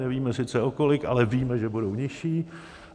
Nevíme sice o kolik, ale víme, že budou nižší.